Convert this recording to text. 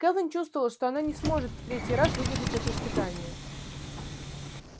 кэлвин чувствовала что она не сможет в третий раз выдержать это испытание